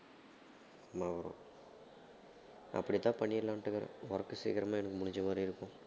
ஆமா bro அப்படித்தான் பண்ணிரலான்ட்டு இருக்கிறேன் work சீக்கிரமா எனக்கு முடிஞ்ச மாதிரி இருக்கும்